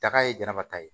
Daga ye jama ta ye